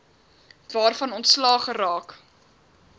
waarvan ontslae geraak